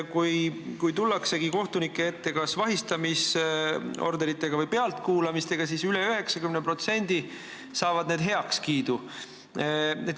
Kui tullakse kohtuniku ette kas vahistamisorderi või pealtkuulamise soovidega, siis üle 90% neist saavad heakskiidu.